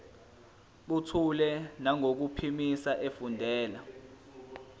buthule nangokuphimisa efundela